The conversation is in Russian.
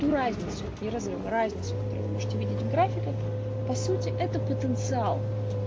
ту разницу не разрыв а разницу которую вы можете увидеть в графиках по сути это потенциал